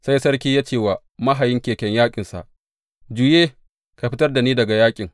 Sai sarki ya ce wa mahayin keken yaƙinsa, Juye, ka fitar da ni daga yaƙin.